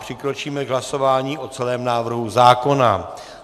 Přikročíme k hlasování o celém návrhu zákona.